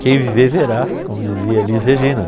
Quem viver, verá, como dizia Elis Regina.